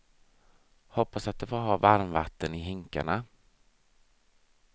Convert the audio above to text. Hoppas att de får ha varmvatten i hinkarna.